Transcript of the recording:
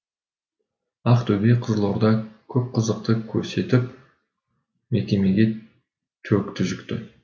ақтөбе қызылорда көп қызықты көрсетіп мекемеге төкті жүкті